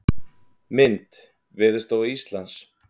Mynd: Veðurstofa Íslands.